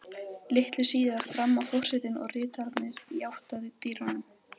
Litlu síðar þramma forsetinn og ritararnir í átt að dyrunum.